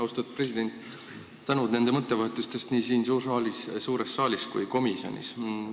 Austatud president, aitäh teile nende mõttevahetuste eest nii siin suures saalis kui ka komisjonis!